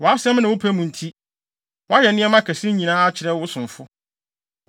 Wʼasɛm ne wo pɛ mu nti, woayɛ nneɛma kɛse yi nyinaa akyerɛ wo somfo.